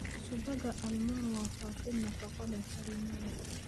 Subagga almond waa faafin nafaqo leh, kareem leh.